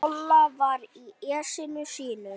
Lolla var í essinu sínu.